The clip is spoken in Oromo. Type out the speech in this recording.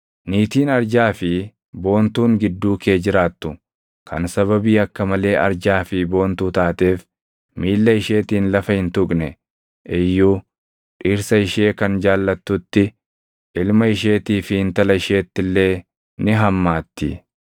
Niitiin arjaa fi boontuun gidduu kee jiraattu kan sababii akka malee arjaa fi boontuu taateef miilla isheetiin lafa hin tuqne iyyuu dhirsa ishee kan jaallattutti, ilma isheetii fi intala isheetti illee ni hammaatti;